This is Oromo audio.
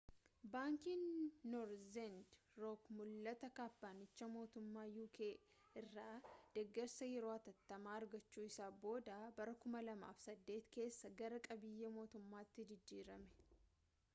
baankiin noorzerni rook mul'ata kaampanichi mootummaa uk irraa deeggarsa yeroo hatattamaa argachuu isaa booda bara 2008 keessa gara qabiyyee mootummaatti jijjiirame